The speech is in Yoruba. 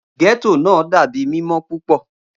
Getto naa dabi mimọ pupọ.